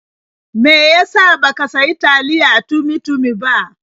Me ya sa ba ka sayi taliyae Tummy-tummy ba?